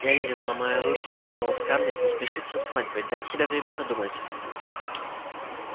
эллин ломая руки умоляла скарлетт не спешить со свадьбой дать себя время подумать